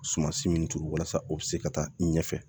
Sumansi min turu walasa o bi se ka taa i ɲɛfɛ